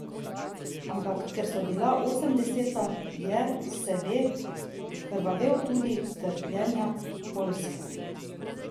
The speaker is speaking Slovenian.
Ampak ker so bila osemdeseta, je, se ve, krvavel zaradi trpljenja Poljske.